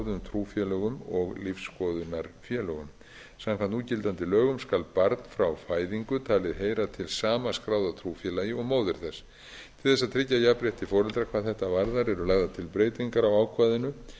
aðild að skráðum trúfélögum og lífsskoðunarfélögum samkvæmt núgildandi lögum skal barn frá fæðingu talið heyra til sama skráða trúfélagi og móðir þess til þess að tryggja jafnrétti foreldra hvað þetta varðar eru lagðar til breytingar á ákvæðinu